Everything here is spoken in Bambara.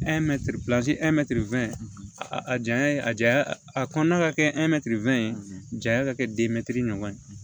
a janya ye a janya a kɔnɔna ka kɛ ye janya ka kɛ ɲɔgɔn ye